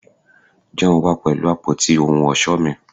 John wa pẹlu apoti ohun ọṣọ mi